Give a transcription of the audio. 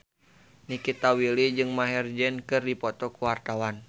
Nikita Willy jeung Maher Zein keur dipoto ku wartawan